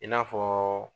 I n'a fɔ